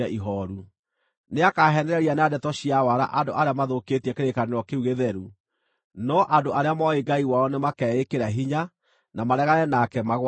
Nĩakaheenereria na ndeto cia waara andũ arĩa mathũkĩtie kĩrĩkanĩro kĩu gĩtheru, no andũ arĩa mooĩ Ngai wao nĩmakeĩkĩra hinya na maregane nake magwatĩirie.